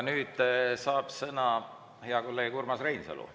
Nüüd saab sõna hea kolleeg Urmas Reinsalu.